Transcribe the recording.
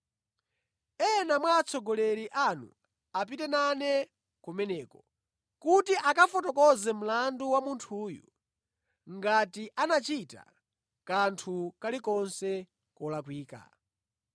Ena mwa atsogoleri anu apite nane kumeneko, kuti akafotokoze mlandu wa munthuyu, ngati anachita kanthu kalikonse kolakwika.”